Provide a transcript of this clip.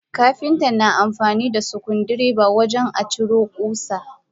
Kapinta na amfanida sukuddireba wajen aciro kusa.